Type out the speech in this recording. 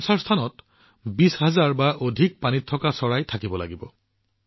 ৰামচৰ স্থানত ২০০০০ বা ততোধিক জলপক্ষী থাকিব লাগে